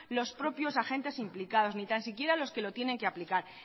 los propios agentes implicados ni tan siquiera los que lo tienen que aplicar